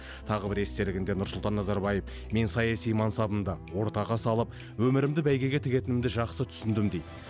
тағы бір естелігінде нұрсұлтан назарбаев мен саяси мансабымды ортаға салып өмірімді бәйгеге тігетінімді жақсы түсіндім дейді